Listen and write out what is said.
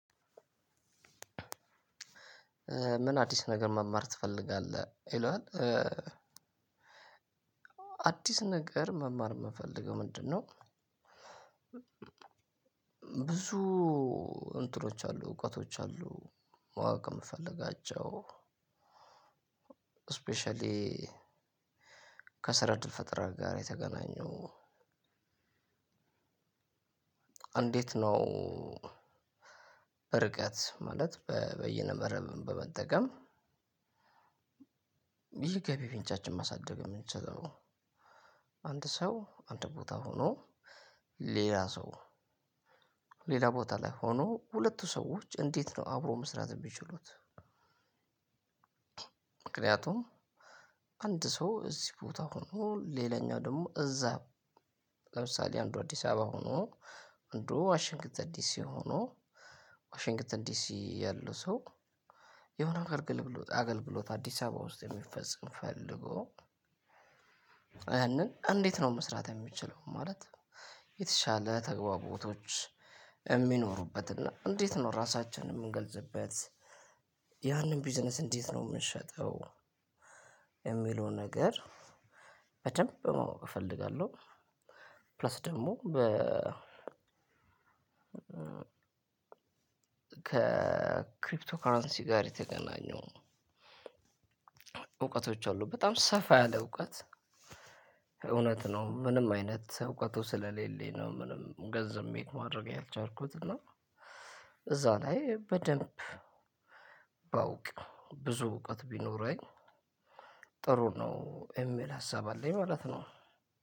ምን አዲስ ነገር መማር ትፈልጋለህ ይለዋል? አዲስ ነገር መማር የምፈልገው ምንድነው? ብዙ እንትኖች አሉ እውቀቶች አሉ። ማወቅ እምፈልጋቸው ስፔሻሊ ከስራ እድል ፈጠራ ጋር የተገናኘው። አንዴት ነው? ርቀት ማለት በይነመረብን በመጠቀም ይሄ ገቢ ምንጫችን ማሳደግ የምንችለው አንድ ሰው አንድ ቦታ ሆኖ ሌላ ሰው ሌላ ቦታ ላይ ሆኖ ሁለቱ ሰዎች እንዴት ነው አብሮ መስራት የሚችሉት? ምክንያቱም አንድ ሰው እዚህ ቦታ ሆኖ ሌላኛው ደግሞ እዛ ለምሳሌ አንዱ አዲስ አበባ ሆኖ አንዱ ዋሽንግተን ዲሲ ሆኖ ዋሽንግተን ዲሲ ያለው ሰው የሆነ አገልግሎት አገልግሎት አዲስ አበባ ውስጥ የሚፈጽም ፈልጎ ያንን እንዴት ነው መስራት የሚችለው? ማለት የተሻለ ተግባቦቶች የሚኖሩበትና እንዴት ነው ራሳችንን የምንገልጽበት? ያንን ቢዝነስ እንዴት ነው የምሸጠው? የሚለው ነገር በደንብ ማወቅ እፈልጋለሁ። ፕላስ ደግሞ በ ከክሪፕቶ ከረንሲ ጋር የተገናኘው እውቀቶች አሉ በጣም ሰፋ ያለ እውቀት። እውነት ነው ምንም አይነት እውቀቱ ስለሌለኝ ነው ምንም ገንዘብ ሜክ ማድረግ ያልቻልኩት። እና እዛ ላይ በደንብ ባውቅ ብዙ እውቀት ቢኖረኝ ጥሩ ነው እሚል ሀሳብ አለኝ ማለት ነው።